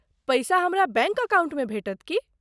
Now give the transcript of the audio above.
पैसा हमरा बैंक अकाउंटमे भेटत की ?